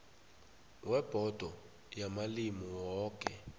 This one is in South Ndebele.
webhodo yamalimi woke